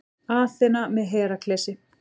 Aþena með Heraklesi.